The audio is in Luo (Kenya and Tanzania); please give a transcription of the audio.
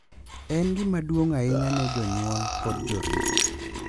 En gima duong’ ahinya ne jonyuol kod jorit.